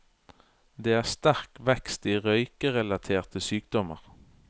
Det er sterk vekst i røykerelaterte sykdommer.